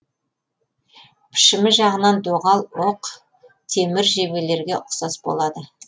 пішімі жағынан доғал оқ темір жебелерге ұқсас болады